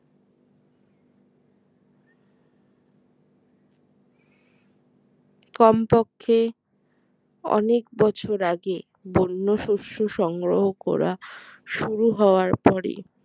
কমপক্ষে অনেক বছর আগে বন্য শস্য সংগ্রহ করা শুরু হওয়ার পরে